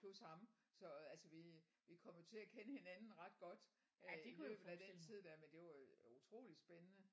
Plus ham så altså vi vi kom jo til at kende hinanden ret godt øh i løbet af den tid der men det var jo utrolig spændende